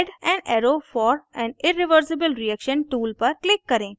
add an arrow for an irreversible reaction tool पर click करें